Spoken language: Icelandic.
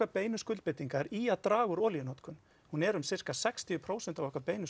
beinu skuldbindingar í að draga úr olíunotkun hún er um sirka sextíu prósent af okkar beinu